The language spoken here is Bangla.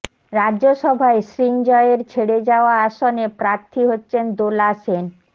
রাজ্যসভায় সৃঞ্জয়ের ছেড়ে যাওয়া আসনে প্রার্থী হচ্ছেন দোলা সেন